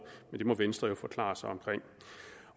men må venstre forklare sig